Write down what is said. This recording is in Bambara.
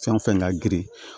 Fɛn fɛn ka girin